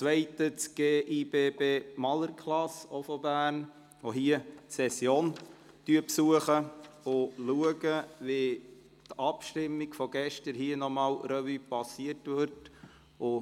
Sie besuchen die Session und schauen, wie die Abstimmung von gestern hier noch einmal Revue passiert wird.